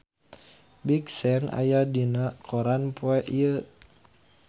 Big Sean aya dina koran poe Senen